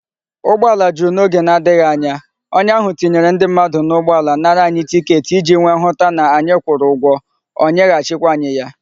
Ugboala juru na oge na adighi anya, onye ahu tinyere ndi mmadu na ugboala nara anyi ticket iji wee hu ta na anyi kwuru ugwo, onye ha chi kwa anyi ya